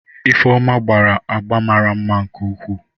Ifeoma gbara agba mara mma nke ukwuu.